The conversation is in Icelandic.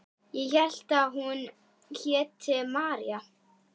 Ég hélt að hún héti María.